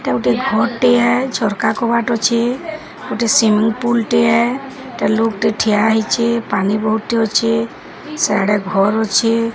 ଏଇଟା ଗୋଟେ ଘର୍ ଟିଏ ଝରକା କବାଟ ଅଛେ। ଗୋଟେ ସ୍ବିସିଙ୍ଗ୍ ପୁଲ୍ ଟିଏ ଏଟା ଲୋକ୍ ଟେ ଠିଆ ହେଇଚେ ପାଣି ବୋହୁତ୍ ଟେ ଅଛେ ସିଆଡ଼େ ଘର୍ ଅଛେ।